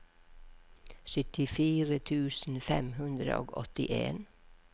syttifire tusen fem hundre og åttien